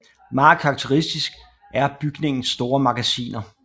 Meget karakteristisk er bygningens store magasiner